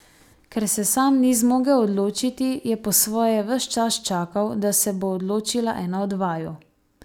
Ker se sam ni zmogel odločiti, je po svoje ves čas čakal, da se bo odločila ena od vaju.